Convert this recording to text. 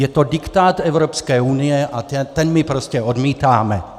Je to diktát Evropské unie a ten my prostě odmítáme.